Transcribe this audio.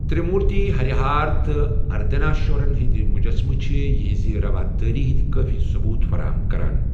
ترِٛ مورتی، ہریہار تہٕ اردنارشورن ہٕنٛدۍ مجسمہٕ چھِ یہنٛزِ روادٲری ہٕنٛدۍ کٲفی ثبوت فراہم کران۔